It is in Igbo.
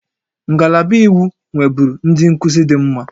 Ngalaba iwu nweburu ndị nkuzi dị mma